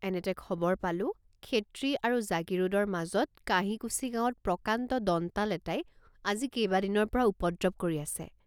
এনেতে খবৰ পালো ক্ষেত্ৰী আৰু জাগীৰোডৰ মাজত কাঁহিকুছি গাঁৱত প্ৰকাণ্ড দন্তাল এটাই আজি কেবাদিনৰপৰা উপদ্ৰৱ কৰি আছে।